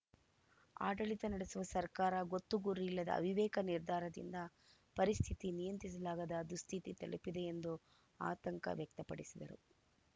ಆಡಳಿತ ನಡೆಸುವ ಸರ್ಕಾರ ಗೊತ್ತು ಗುರಿಯಿಲ್ಲದ ಅವಿವೇಕ ನಿರ್ಧಾರದಿಂದ ಪರಿಸ್ಥಿತಿ ನಿಯಂತ್ರಿಸಲಾಗದ ದುಸ್ಥಿತಿ ತಲುಪಿದೆ ಎಂದು ಆತಂಕ ವ್ಯಕ್ತಪಡಿಸಿದರು